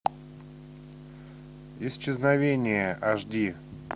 исчезновение аш ди